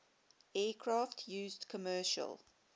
aircraft used commercial